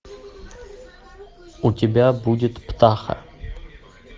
у тебя будет птаха